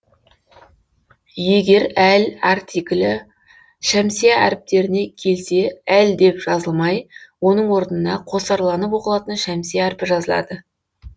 егер әл артиклі шәмсия әріптеріне келсе әл деп жазылмай оның орнына қосарланып оқылатын шәмсия әрпі жазылады